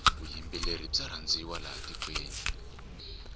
vuyimbeleri bya rhandziwa laha tikweni